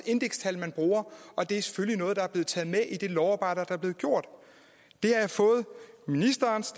indekstal man bruger og det er selvfølgelig noget der er blevet taget med i det lovarbejde der er blevet gjort det har jeg fået ministerens